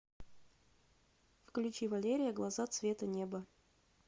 включи валерия глаза цвета неба